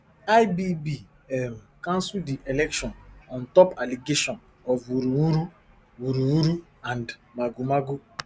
ibb um cancel di election ontop allegation of wuruwuru wuruwuru and magomago